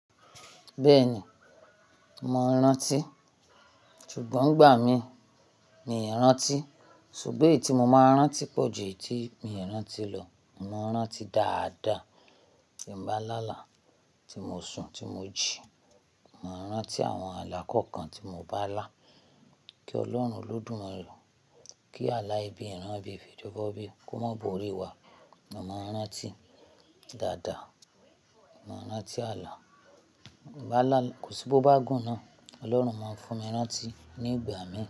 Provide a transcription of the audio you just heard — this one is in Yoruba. Bẹ́ẹ̀ni, mo ń rántí. Ṣùgbọ́n ìgbà mi ni n rántí, ṣùgbọ́n èyí tí mo máa rántí pọ̀ ju èyí tí mio kin rántí lọ. Mo ń rántí dáadáa. Tí mo bá lá là, tí mo sùn, tí mo jíì, màá rántí àwọn àlà kọ̀ọ̀kan tí mo bá lá. Kí Ọlọ́run Olódùmarè kí àlà ẹbí ìran bíi Fèjóbá bí, kó má bori wa. Mo máa rántí dáadáa. Mo máa rántí àlà. Bá làlà, kò sí bó bá gùn náà, Ọlọ́run máa fún mi rántí ní ìgbà mí.